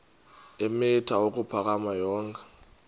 eemitha ukuphakama yonke